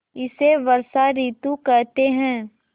इसे वर्षा ॠतु कहते हैं